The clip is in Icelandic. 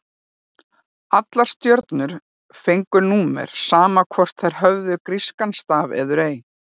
Allar stjörnur fengu númer, sama hvort þær höfðu grískan staf eður ei.